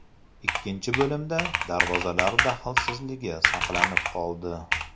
Ikkinchi bo‘limda darvozalar daxlsizligi saqlanib qoldi.